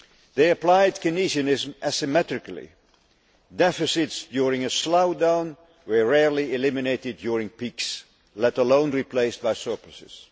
They applied Keynesianism asymmetrically deficits during a slowdown were rarely eliminated during peaks let alone replaced by surpluses.